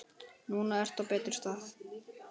Núna ertu á betri stað.